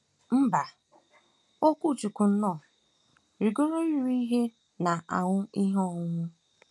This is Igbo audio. Mba, Okwuchukwu nnọọ “ rigoro iri ihe na aṅụ ihe ọṅụṅụ.